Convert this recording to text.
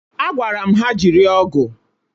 Agwara m ha jiri ọ́gụ̀!